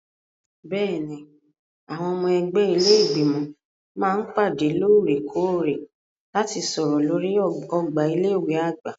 Bẹ́ẹ̀ni, àwọn ọmọ ẹgbẹ́ ilé Ìgbìmọ̀ máa ń pàdé lóòrè-kóòrè láti sọ̀rọ̀ lórí ọgbà ilé ìwé àgbà.